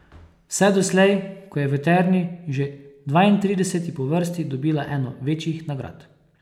Vse doslej, ko je v Terni, že dvaintrideseti po vrsti, dobila eno večjih nagrad.